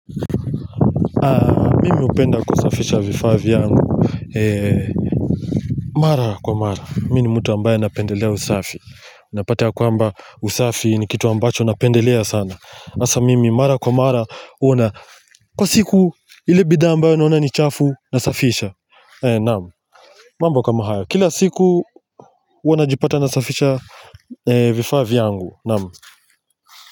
Mi hupenda kusafisha vifaa vyangu mara kwa mara, mi ni mtu ambaye anapendelea usafi unapata ya kwamba usafi ni kitu ambacho napendelea sana hasa mimi mara kwa mara huwana kwa siku ile bidhaa ambayo naona ni chafu nasafisha naam mambo kama haya, kila siku huwa najipata nasafisha vifaa vyangu naam.